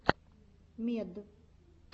мед